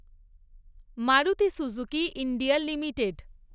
Maruti Suzuki India limited